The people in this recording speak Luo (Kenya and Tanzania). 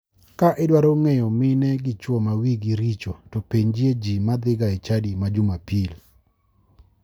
Ka idwaro ng'eyo mine gi chuo ma wigi richo to penjie ji madhiga e chadi ma jumapil.